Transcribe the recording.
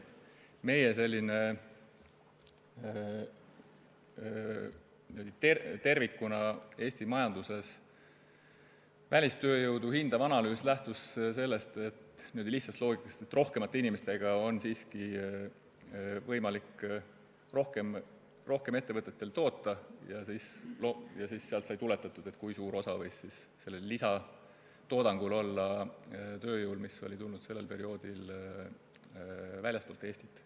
Aga meie selline tervikuna Eesti majanduses välistööjõudu hindav analüüs lähtus niisugusest lihtsast loogikast, et rohkemate inimestega on ettevõtetel võimalik rohkem toota, ja sellest sai tuletatud, kui suurt osa võis lisatoodangu puhul olla täitnud tööjõud, mis oli sel perioodil tulnud väljastpoolt Eestit.